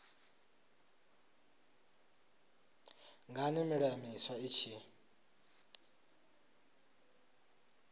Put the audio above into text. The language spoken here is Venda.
ngani milayo miswa i tshi